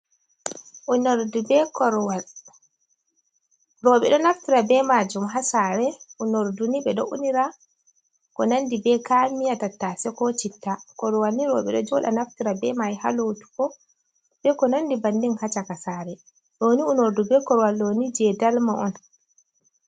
U nordube korwal, Roɓe ɗo naftira be majum hasare, u norduni ɓeɗo unira kunandi be kayan miya tattase, kocitta. korwalni roɓe ɗo joɗa naftira be mai halotugo be ko konandi bannin hacaka sare, ɗoni unordu be korwal ɗoni je dalma on.